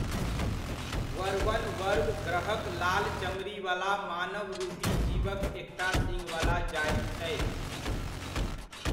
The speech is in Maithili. वर्वन वर्व ग्रहक लाल चमड़ीवला मानवरूपी जीवक एकटा सीङ्घवला जाति छै।